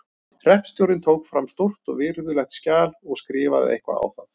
Hreppstjórinn tók fram stórt og virðulegt skjal og skrifaði eitthvað á það.